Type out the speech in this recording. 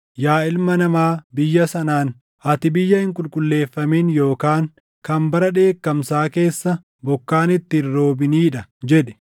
“Yaa ilma namaa biyya sanaan, ‘Ati biyya hin qulqulleeffamin yookaan kan bara dheekkamsaa keessa bokkaan itti hin roobinii dha’ jedhi.